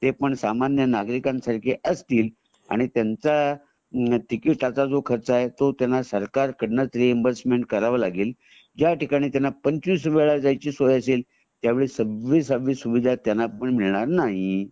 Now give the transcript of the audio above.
ते पण सामान्य नगरिकांसारखे असतील आणि त्यांचा टिकिट च जो खर्च आहे टु त्यांना सरकार कडून रिइमबर्स करून घ्यावा लागेल ज्या ठिकाणी त्यांना पंचवीस वेळ जायची सोय असेल त्यावेळी त्यांना सव्वीसा वी सुविधा त्यांना ही मिळणार नाही